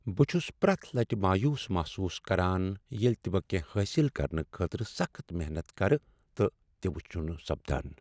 بہٕ چھس پرٛتھ لٹہ مایوس محسوس کران ییٚلہ تِہ بہٕ کینٛہہ حٲصل کرنہٕ خٲطرٕ سخٕت محنت كرٕ، تہٕ تِہ چھنہٕ سپدان۔